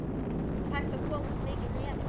Er hægt að komast mikið neðar??